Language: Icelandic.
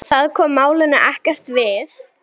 Það kom málinu ekkert við.